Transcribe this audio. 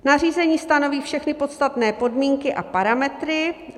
Nařízení stanoví všechny podstatné podmínky a parametry.